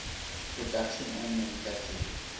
production and manufacturing